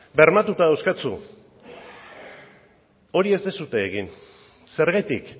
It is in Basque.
bermatuta dauzkazu hori ez duzue egin zergatik